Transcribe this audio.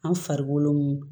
An farikolo